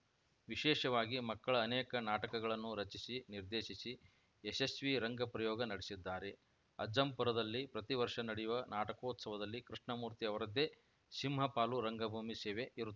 ವಿಶೇಷವಾಗಿ ಮಕ್ಕಳ ಅನೇಕ ನಾಟಕಗಳನ್ನು ರಚಿಸಿ ನಿರ್ದೇಶಿಸಿ ಯಶಸ್ವಿ ರಂಗಪ್ರಯೋಗ ನಡೆಸಿದ್ದಾರೆ ಅಜ್ಜಂಪುರದಲ್ಲಿ ಪ್ರತಿ ವರ್ಷ ನಡೆಯುವ ನಾಟಕೋತ್ಸವದಲ್ಲಿ ಕೃಷ್ಣಮೂರ್ತಿ ಅವರದ್ದೇ ಸಿಂಹಪಾಲು ರಂಗಭೂಮಿ ಸೇವೆ ಇರುತ್ತ